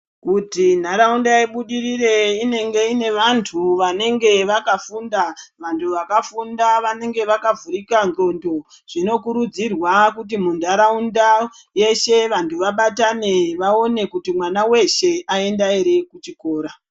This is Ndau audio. Kuti nharawunda ibudirire , inenge inevantu vanenge vakafunda. Vantu vakafunda vanenge vakavhurika ndxondo. Zvinokurudzirwa kuti mundarawunda yeshe vantu vabatane vaone kuti mwana weshe ayenda here kuchikora.